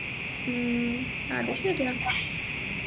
ഉം അത് ശരിയാ